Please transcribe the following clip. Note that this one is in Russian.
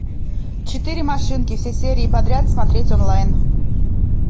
четыре машинки все серии подряд смотреть онлайн